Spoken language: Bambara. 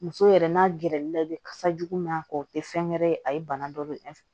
Muso yɛrɛ n'a gɛrɛl'i la i bɛ kasa jugu min a kɔ o tɛ fɛn gɛrɛ ye a ye bana dɔ de